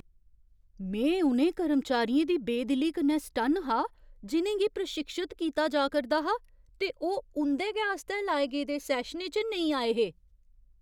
में उ'नें कर्मचारियें दी बेदिली कन्नै सटन्न हा जि'नें गी प्रशिक्षत कीता जा करदा हा ते ओह् उं'दे गै आस्तै लाए गेदे सैशनें च नेईं आए हे।